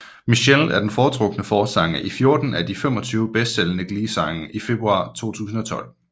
Michele er den foretrukne forsanger i 14 af de 25 bedste sælgende Glee sange i februar 2012